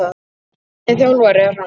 Hvernig þjálfari er hann?